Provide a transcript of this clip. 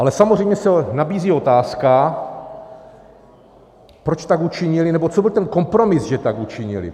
Ale samozřejmě se nabízí otázka, proč tak učinily, nebo co byl ten kompromis, že tak učinily.